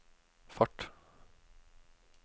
fart